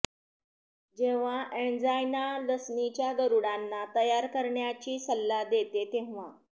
जेव्हा एन्जाइना लसणीच्या गरुडांना तयार करण्याची सल्ला देते तेव्हा